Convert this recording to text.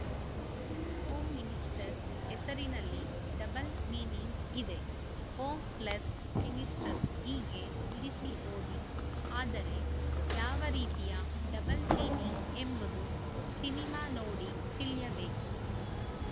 home minister ಹೆಸರಿನಲ್ಲಿ double meaning ಇದೆ home plus minister ಹೀಗೆ ಬಿಡಿಸಿ ಓದಿ ಆದರೆ ಯಾವ ರೀತಿಯ ಡಬಲ್‌ ಮೀನಿಂಗ್‌ ಎಂಬುದು ಸಿನಿಮಾ ನೋಡಿ ತಿಳಿಯಬೇಕು